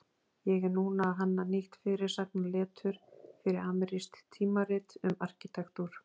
Ég er núna að hanna nýtt fyrirsagnaletur fyrir amerískt tímarit um arkitektúr.